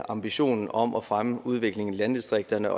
ambitionen om at fremme udviklingen i landdistrikterne